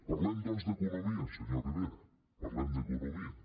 parlem doncs d’economia senyor rivera parlem d’economia